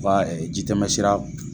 jitɛma sira.